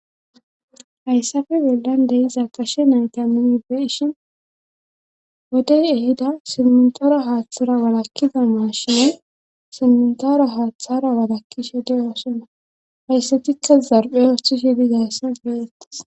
hayssafe bolla dey zakashe naytaninibbe ishin wodey ehida simintora haaththara walakkida mashine simntora haaththara walakkishe de oosona hayssatikka zarphe oohthishe digayssa geyettis